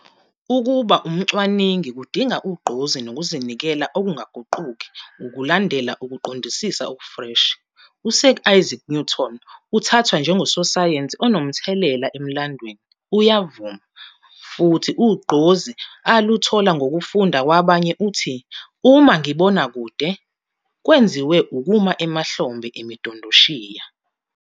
"Ukuba umcwaningi kudinga ugqozi nokuzinikela okungaguquki ukulandela ukuqondisisa okufreshi. U-Sir Isaac Newton uthathwa njengososayensi onomthelela emlandweni. Uyavuma futhi ugqozi aluthola ngokufunda kwabanye uthi, 'Uma ngibone kude kwenziwe ukuma emahlombe emidondoshiya."